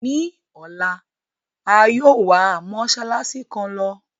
Ní ọ̀la, a yòó wa mósálásí kan lọ.